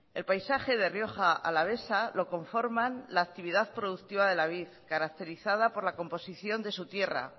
el paisaje de rioja alavesa lo conforman la actividad productiva de la vid caracterizada por la composición de su tierra